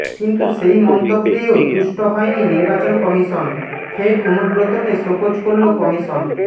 কিন্তু সেই মন্তব্যেও তুষ্ট হয়নি নির্বাচন কমিশন ফের অনুব্রতকে শোকজ করল কমিশন